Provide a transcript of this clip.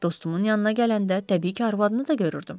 Dostumun yanına gələndə təbii ki, arvadını da görürdüm.